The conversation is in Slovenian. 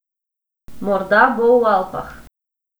Morda bo v Alpah.